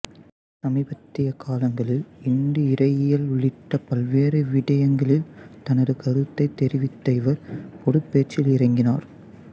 சமீபத்திய காலங்களில் இந்து இறையியல் உள்ளிட்ட பல்வேறு விடயங்களில் தனது கருத்தைத் தெரிவித்த இவர் பொதுப் பேச்சில் இறங்கினார்